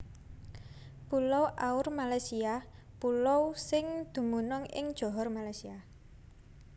Pulau Aur Malaysia pulo sing dumunung ing Johor Malaysia